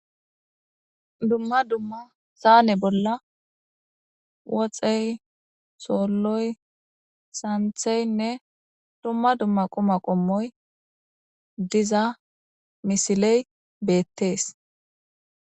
Dumma dumma saane bolla woxey soolloy santheynne dumma dumma quma qommoy diza misiley beettees.